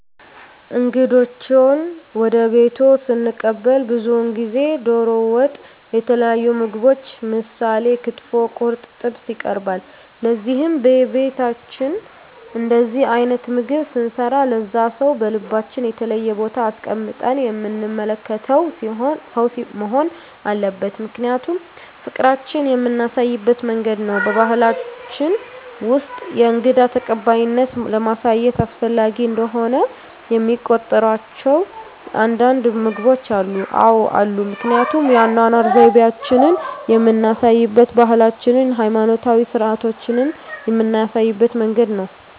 እንግዶችዎን ወደ ቤትዎ ስንቀበል ብዙውን ጊዜ ደሮ ወጥ የተለያዩ ምግቦች ምሳሌ ክትፎ ቁርጥ ጥብስ ይቀርባል ለዚህም በቤታችን እንደዚህ አይነት ምግብ ስንሰራ ለዛ ሰው በልባችን የተለየ ቦታ አስቀምጠን የምንመለከተው ሰው መሆን አለበት ምክንያቱም ፍቅራችን የምናሳይበት መንገድ ነው በባሕላችን ውስጥ የእንግዳ ተቀባይነትን ለማሳየት አስፈላጊ እንደሆነ የሚቆጥሯቸው አንዳንድ ምግቦች አሉ? አዎ አሉ ምክንያቱም የአኗኗር ዘይቤአችንን የምናሳይበት ባህላችንን ሀይማኖታዊ ስርአቶቻችንን ምናሳይበት መንገድ ነው